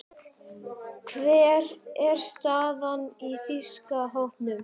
Hver er staðan á þýska hópnum?